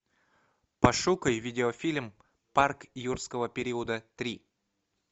пошукай видеофильм парк юрского периода три